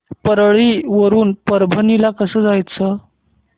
परळी वरून परभणी ला कसं जायचं